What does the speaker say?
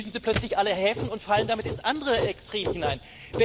Jetzt schließen Sie plötzlich alle Häfen und fallen damit ins andere Extrem hinein.